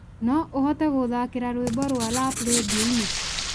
no ũhote gũthaakĩra rwimbo rwa rap rĩndiũ-inĩ